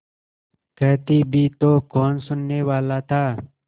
कहती भी तो कौन सुनने वाला था